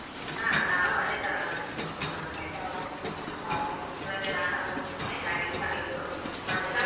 ಹಾ ನಾವು ಅದೇ ತರ ಮಾಡುದು ನಮ್ಮ್ ಮನೆಯಲ್ಲಿ. ಹ್ಮ್ ಇವಾಗ ನಾನು. ಆಯ್ತಾ ಅಡಿಗೆ? ನಿಮ್ದು ಮಧ್ಯಾಹ್ನದ್ದು?